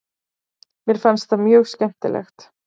Mér fannst það mjög skemmtilegt.